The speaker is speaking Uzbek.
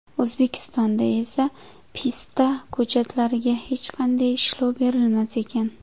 O‘zbekistonda esa pista ko‘chatlariga hech qanday ishlov berilmas ekan.